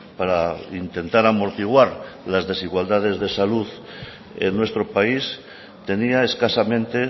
para intentar amortiguar las desigualdades de salud en nuestro país tenía escasamente